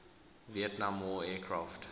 vietnam war aircraft